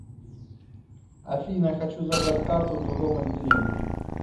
афина хочу забрать карту в другом отделении